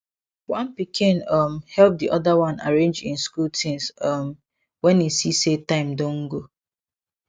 one pikin um help the other one arrange im school things um when e see say time don go